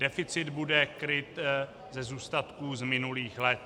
Deficit bude kryt ze zůstatků z minulých let.